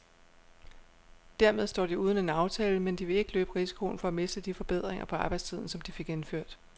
Dermed står de uden en aftale, men de vil ikke løbe risikoen for at miste de forbedringer på arbejdstiden, som de fik indført.